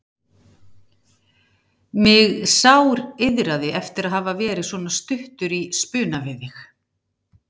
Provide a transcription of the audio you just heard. Mig sáriðraði eftir að hafa verið svona stuttur í spuna við þig.